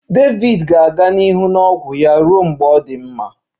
David ga-aga n'ihu na ọgwụ ya ruo mgbe ọ dị mma